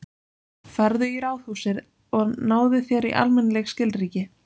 Farðu í ráðhúsið og náðu þér í almennileg skilríki.